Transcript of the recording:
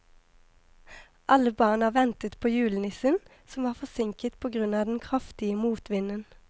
Alle barna ventet på julenissen, som var forsinket på grunn av den kraftige motvinden.